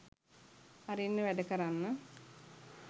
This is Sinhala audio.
අරින්න වැඩ කරන්න